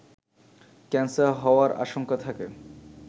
cancer হওয়ার আশঙ্কা থাকে